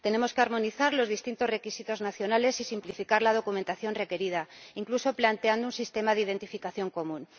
Tenemos que armonizar los distintos requisitos nacionales y simplificar la documentación requerida, incluso planteando un sistema de identificación común.